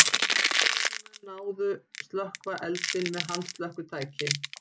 Lögreglumenn náðu slökkva eldinn með handslökkvitæki